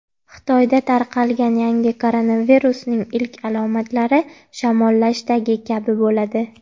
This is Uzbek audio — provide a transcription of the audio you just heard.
Xitoyda tarqalgan yangi koronavirusning ilk alomatlari shamollashdagi kabi bo‘ladi.